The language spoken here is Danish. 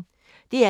DR P1